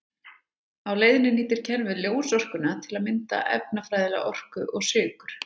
Á leiðinni nýtir kerfið ljósorkuna til að mynda efnafræðilega orku og sykur.